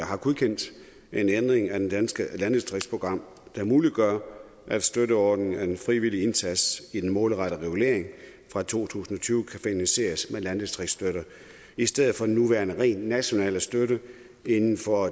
har godkendt en ændring af det danske landdistriktsprogram der muliggør at støtteordningen af den frivillige indsats i den målrettede regulering fra to tusind og tyve kan finansieres med landdistriktsstøtte i stedet for den nuværende rent nationale støtte inden for